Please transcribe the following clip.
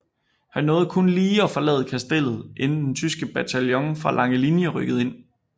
Han nåede kun lige at forlade Kastellet inden den tyske bataljon fra Langelinie rykkede ind